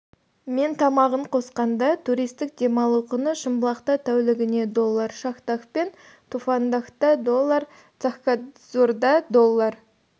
мен тамағын қосқанда туристік демалу құны шымбұлақта тәулігіне доллар шахдаг пен туфандагта доллар цахкадзорда доллар